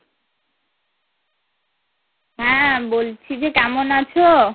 হ্যাঁ, বলছি যে কেমন আছো?